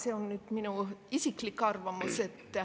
See on nüüd mu isiklik arvamus.